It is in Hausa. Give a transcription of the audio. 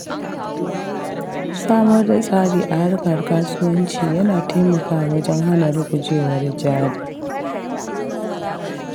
Samar da tsari a harkar kasuwanci yana taimakawa wajen hana rugujewar jari.